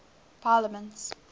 parliaments